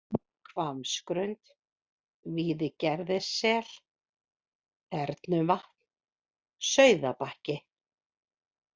Hvammsgrund, Víðigerðissel, Þernuvatn, Sauðabakki